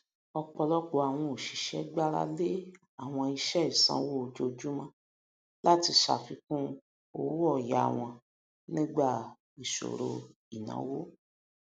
ọpọlọpọ àwọn oṣiṣẹ gbárà lé àwọn iṣẹ ìsanwó ojoojúmọ láti ṣàfikún owóoyá wọn nígbà ìṣòro ináwó